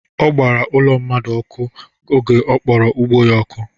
Ọ gbara ụlọ mmadụ ọkụ oge ọ kpọrọ ugbo ya ọkụ